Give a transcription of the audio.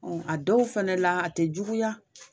Ɔn a dɔw fɛnɛ la a te juguya